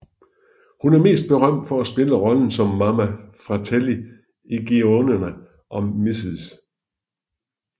Hun er mest berømt for at spille rollen som Mama Fratelli i Goonierne og Mrs